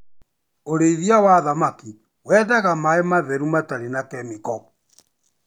Urĩithia wa thamaki wendaga maaĩ matheru matarĩ na kemiko.